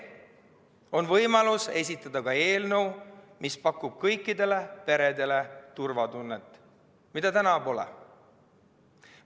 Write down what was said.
On võimalus esitada eelnõu, mis pakub kõikidele peredele turvatunnet, mida täna pole.